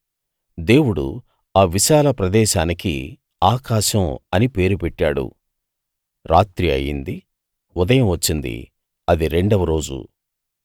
దేవుడు ఆ విశాల ప్రదేశానికి ఆకాశం అని పేరు పెట్టాడు రాత్రి అయింది ఉదయం వచ్చింది రెండవ రోజు